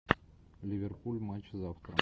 ливерпуль матч завтра